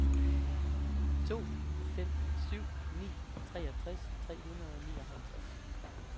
to fem syv ni treogtres tre hundrede og nioghalvtreds